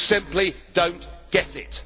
you simply do not get it.